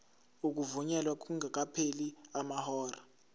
ukuvunyelwa kungakapheli amahora